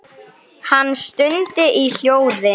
Hann stundi í hljóði.